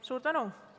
Suur tänu!